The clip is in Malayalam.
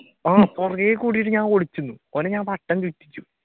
ആഹ് പുറകെ ഓടിട്ട് ഞാൻ ഒളിച്ചു നിന്ന് ഓനെ ഞാൻ വട്ടം ചുറ്റിപ്പിച്ചു